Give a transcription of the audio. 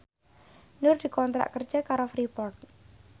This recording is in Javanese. Nur dikontrak kerja karo Freeport